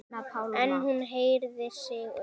En hún herðir sig upp.